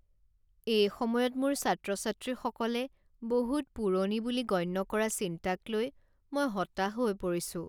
এই সময়ত মোৰ ছাত্ৰ ছাত্ৰীসকলে বহুত পুৰণি বুলি গণ্য কৰা চিন্তাক লৈ মই হতাশ হৈ পৰিছোঁ।